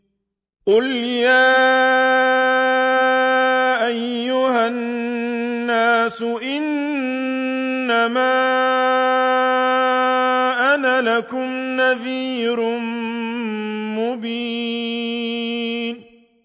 قُلْ يَا أَيُّهَا النَّاسُ إِنَّمَا أَنَا لَكُمْ نَذِيرٌ مُّبِينٌ